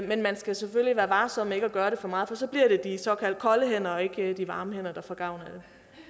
men man skal selvfølgelig være varsom med at gøre det for meget for så bliver det de såkaldt kolde hænder og ikke de varme hænder der får gavn